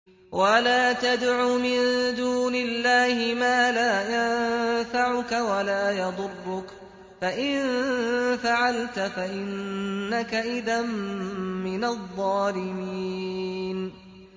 وَلَا تَدْعُ مِن دُونِ اللَّهِ مَا لَا يَنفَعُكَ وَلَا يَضُرُّكَ ۖ فَإِن فَعَلْتَ فَإِنَّكَ إِذًا مِّنَ الظَّالِمِينَ